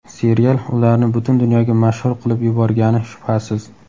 Serial ularni butun dunyoga mashhur qilib yuborgani shubhasiz.